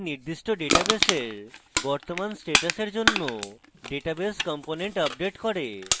এটি নির্দিষ্ট ডাটাবেসের বর্তমান status জন্য ডাটাবেস component আপডেট করে